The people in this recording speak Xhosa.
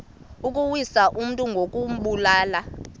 ukuwisa umntu ngokumbulala